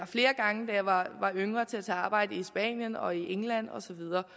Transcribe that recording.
flere gange da jeg var yngre til at tage arbejde i spanien og england og så videre